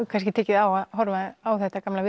kannski tekið á að horfa á þetta gamla